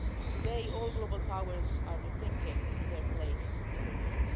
Today, all global powers are rethinking their place in the world.